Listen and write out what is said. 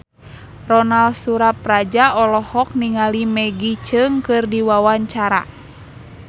Ronal Surapradja olohok ningali Maggie Cheung keur diwawancara